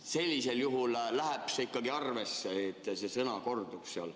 Sellisel juhul läheb see ikkagi arvesse, kui see sõna kordub seal.